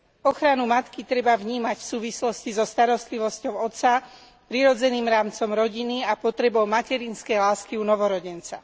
Ochranu matky treba vnímať v súvislosti so starostlivosťou otca, prirodzeným rámcom rodiny, a potrebou materinskej lásky u novorodenca.